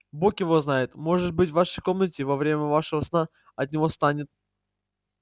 бог его знает может быть в вашей комнате во время вашего сна от него станет